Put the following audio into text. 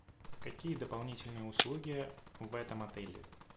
какие дополнительные услуги в этом отеле